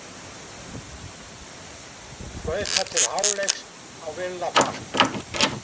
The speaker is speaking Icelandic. Flautað til hálfleiks á Villa Park